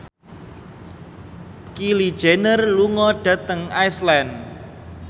Kylie Jenner lunga dhateng Iceland